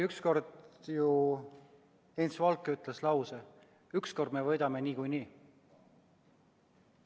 Ükskord ju Heinz Valk ütles lause: "Ükskord me võidame niikuinii!"